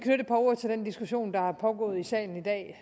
ord til den diskussion der er pågået i salen i dag